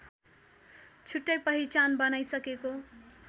छुट्टै पहिचान बनाइसकेको